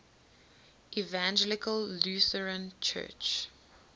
evangelical lutheran church